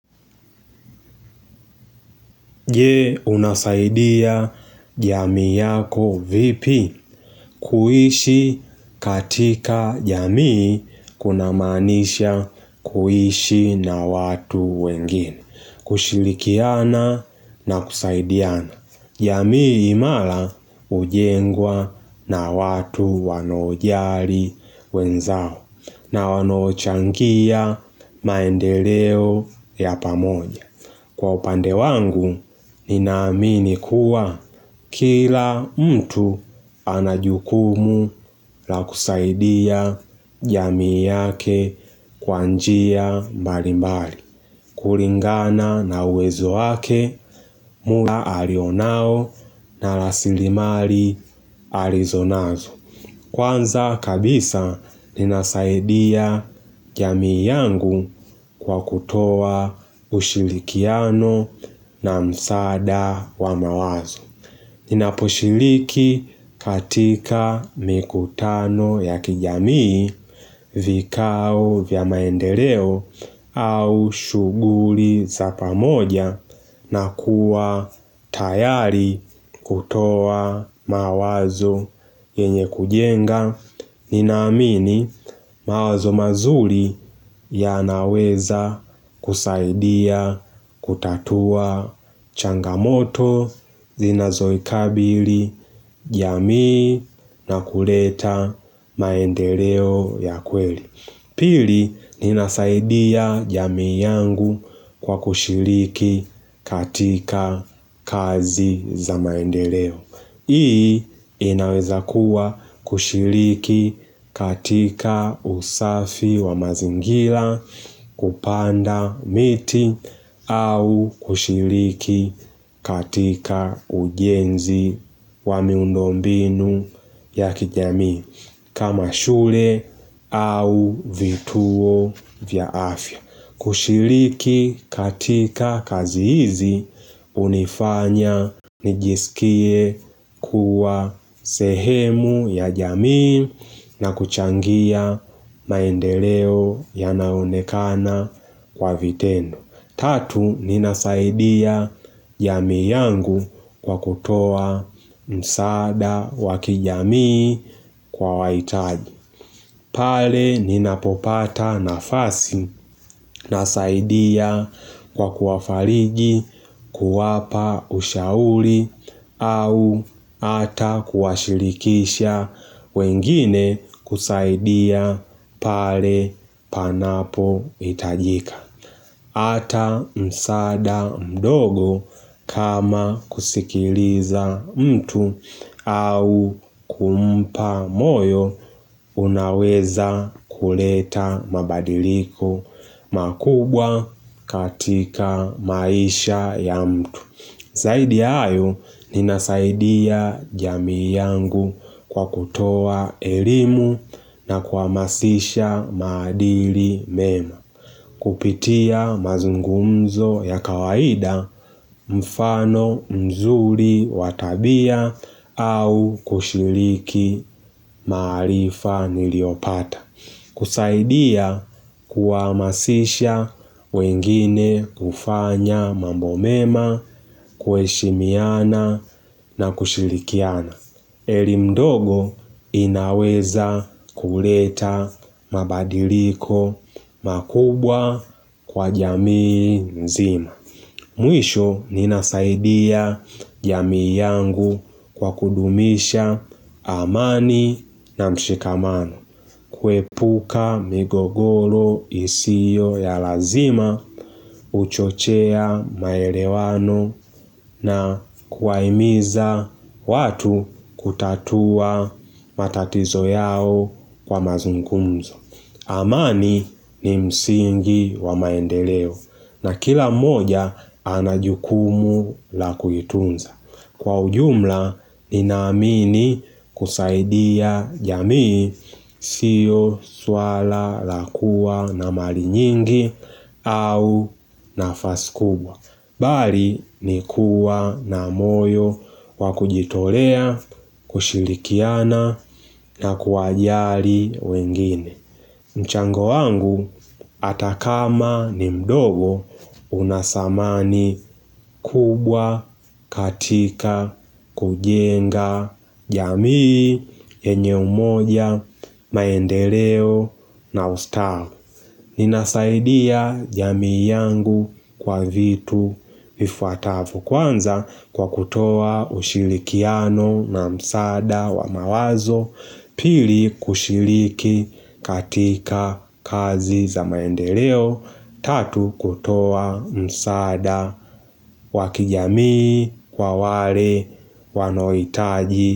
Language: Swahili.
Je unasaidia jamii yako vipi? Kuishi katika jamii kuna manisha kuishi na watu wengine, kushirikiana na kusaidiana. Jamii imara ujengwa na watu wanaojali wenzao na wanaochangia maendeleo ya pamoja. Kwa upande wangu, ninaamini kuwa kila mtu anajukumu la kusaidia jamii yake kwa njia mbali mbali. Kulingana na uwezo wake, muda alionao na rasilimali alizonazo. Kwanza kabisa nina saidia jamii yangu kwa kutoa ushirikiano na msaada wa mawazo. Ninaposhiriki katika mikutano ya kijamii. Vikao vya maendeleo au shuguli za pamoja na kuwa tayari kutoa mawazo yenye kujenga. Ninaamini mawazo mazuri yanaweza kusaidia kutatua changamoto zinazo ikabili jamii na kuleta maendeleo ya kweli. Pili, nina saidia jamii yangu kwa kushiriki katika kazi za maendeleo. Hii inaweza kuwa kushiriki katika usafi wa mazingira kupanda miti au kushiriki katika ujenzi wa miundombinu ya kijamii. Kama shule au vituo vya afya, kushiriki katika kazi hizi unifanya nijisikie kuwa sehemu ya jamii. Na kuchangia maendeleo ya naonekana kwa vitendo tatu ninasaidia jamii yangu kwa kutoa msaada wakijamii kwa waitaji. Pale ninapopata nafasi. Nasaidia kwa kuwafariji kuwapa ushauri au ata kuwashirikisha wengine kusaidia pale panapo itajika. Ata msaada mdogo kama kusikiliza mtu au kumpa moyo unaweza kuleta mabadiliko makubwa katika maisha ya mtu. Zaidi ya hayo ninasaidia jamii yangu kwa kutoa elimu na kuamasisha madili mema. Kupitia mazungumzo ya kawaida mfano mzuri wa tabia au kushiriki maarifa niliyopata. Kusaidia kuwaamasisha wengine ufanya mambo mema, kueshimiana na kushirikiana. Elimu ndogo inaweza kuleta mabadiliko makubwa kwa jamii nzima. Mwisho ninasaidia jamii yangu kwa kudumisha amani na mshikamano. Kuepuka migogoro isiyo ya lazima uchochea maelewano na kuwaimiza watu kutatua matatizo yao kwa mazungumzo. Amani ni msingi wa maendeleo na kila moja anajukumu la kuitunza. Kwa ujumla, ninamini kusaidia jamii sio swala la kuwa na mali nyingi au nafasi kubwa. Bali ni kuwa na moyo wa kujitolea, kushirikiana na kuwajali wengine. Mchango wangu atakama ni mdogo unathamani kubwa katika kujenga jamii yenye umoja maendeleo na ustawi. Ninasaidia jamii yangu kwa vitu vifuatavyo, kwanza kwa kutoa ushirikiano na msaada wa mawazo Pili kushiriki katika kazi za maendeleo Tatu kutoa msaada wa kijamii kwa wale wanaohitaji.